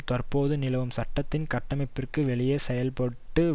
தற்பொழுது நிலவும் சட்டத்தின் கட்டமைப்பிற்கு வெளியே செயல்பட்டு